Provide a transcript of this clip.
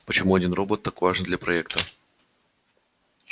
почему один робот так важен для проекта